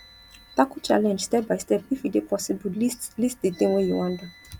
tackle challenge step by step if e dey possible list list di thing wey you wan do